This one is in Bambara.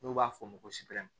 N'u b'a fɔ o ma ko